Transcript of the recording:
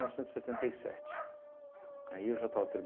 novecentos e setenta e sete. Aí eu já estava